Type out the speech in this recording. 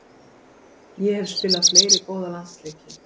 Ég hef spilað fleiri góða landsleiki.